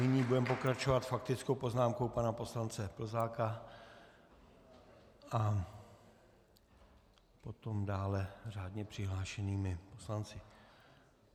Nyní budeme pokračovat faktickou poznámkou pana poslance Plzáka a potom dále řádně přihlášenými poslanci.